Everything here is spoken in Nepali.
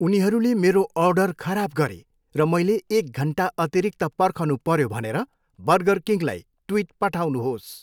उनीहरूले मेरो अर्डर खराब गरे र मैले एक घन्टा अतिरिक्त पर्खनुपऱ्यो भनेर बर्गरकिङलाई ट्विट पठाउनुहोस्।